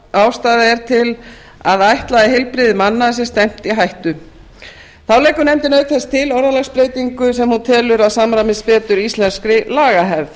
ástæða er til að ætla að heilbrigði manna sé stefnt í hættu þá leggur nefndin auk þess til orðalagsbreytingu sem hún telur að samræmist betur íslenskri lagahefð